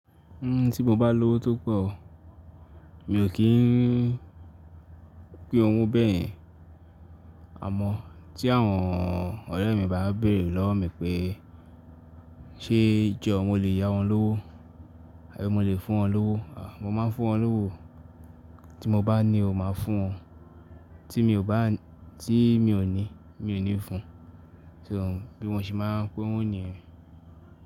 Tí mo bá lówó tó pọ̀, mi ò kí n pín owó bẹ́ẹ̀ yen. Àmọ́ tí àwọn ọ̀rẹ́ mi bá bèrè lọ́wọ mi pé ṣé jọ mo lè yá wọn lówó àbí mo lè fún wọn lówó, à mo máa ń fún wọn lówó o. Tí mo bá ní o máa fún wọn, tí mi ò bá ní tí mi ò ní, mi ò ní fún. So bí wọ́n ṣe máa ń pín owó nìyẹn.